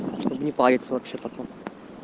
чтоб не париться вообще потом